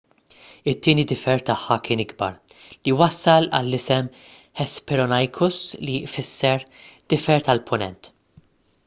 it-tieni difer tagħha kien ikbar li wassal għall-isem hesperonychus li jfisser difer tal-punent